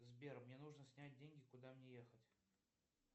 сбер мне нужно снять деньги куда мне ехать